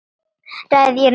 Ræð ég nokkru?